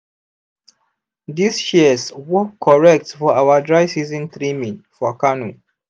this shears work correct for our dry season trimming for kano.